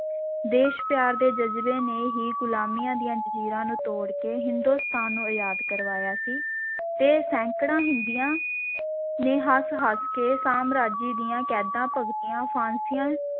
ਦੇਸ਼-ਪਿਆਰ ਦੇ ਜ਼ਜਬੇ ਨੇ ਹੀ ਗੁਲਾਮੀਆਂ ਦੀਆਂ ਜ਼ੰਜੀਰਾਂ ਨੂੰ ਤੋੜ ਕੇ ਹਿੰਦੁਸਤਾਨ ਨੂੰ ਆਜ਼ਾਦ ਕਰਵਾਇਆ ਸੀ ਤੇ ਸੈਂਕੜੇ ਹਿੰਦੀਆਂ ਨੇ ਹੱਸ-ਹੱਸ ਕੇ ਸਾਮਰਾਜੀ ਦੀਆਂ ਕੈਦਾਂ ਭੁਗਤੀਆਂ, ਫਾਂਸੀਆਂ